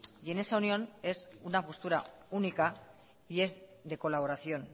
y en esa unión es una postura única y es de colaboración